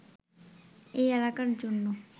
এই এলাকার জন্য